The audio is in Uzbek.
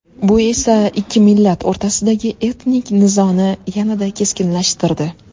Bu esa ikki millat o‘rtasidagi etnik nizoni yanada keskinlashtirdi.